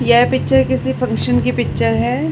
यह पिक्चर किसी फंक्शन की पिक्चर है।